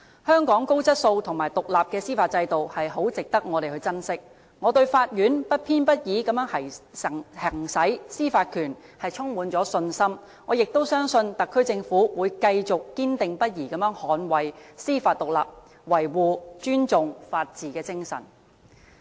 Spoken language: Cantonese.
香港高質素和獨立的司法制度，十分值得我們珍惜，我對法院不偏不倚地行使司法權充滿信心，我也相信特區政府會繼續堅定不移地捍衞司法獨立，維護、尊重法治精神。